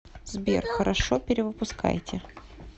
сбер хорошо перевыпускайте